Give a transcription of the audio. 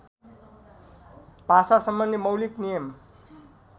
भाषासम्बन्धी मौलिक नियम